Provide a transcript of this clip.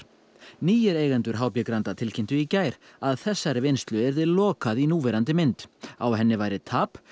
nýir eigendur h b Granda tilkynntu í gær að þessari vinnslu yrði lokað í núverandi mynd á henni væri tap